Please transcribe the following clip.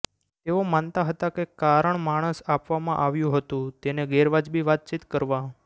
તેઓ માનતા હતા કે કારણ માણસ આપવામાં આવ્યું હતું તેને ગેરવાજબી વાતચીત કરવા